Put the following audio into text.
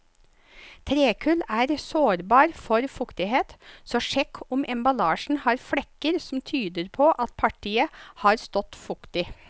Trekull er sårbar for fuktighet, så sjekk om emballasjen har flekker som tyder på at partiet har stått fuktig.